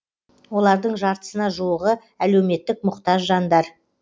олардың жартысына жуығы әлеуметтік мұқтаж жандар